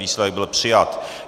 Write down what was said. Výsledek - byl přijat.